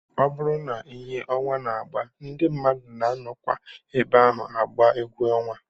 Ọ bụrụ ihe ọnwa na-agba, ndị mmadụ na-anọkwa ebe ahụ agba egwu ọnwa